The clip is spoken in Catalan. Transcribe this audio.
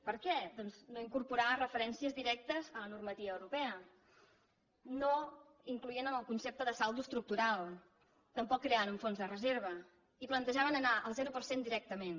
per què doncs no incorporar referències directes a la normativa europea no incloent en el concepte de saldo estructural tampoc creant un fons de reserva i plantejaven anar al zero per cent directament